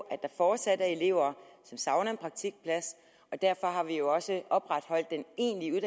at der fortsat er elever som savner en praktikplads og derfor har vi jo også opretholdt den egentlige